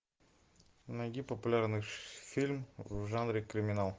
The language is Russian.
найди популярный фильм в жанре криминал